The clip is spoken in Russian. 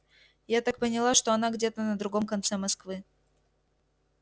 я так поняла что она где-то на другом конце москвы